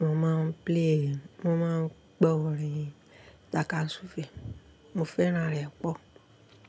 mo máa ń play, mo máa ń gbọ́ orin Tákásúfè. Mo fẹ́ràn rẹ̀ pọ̀.